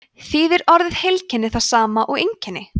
þýðir orðið heilkenni það sama og einkenni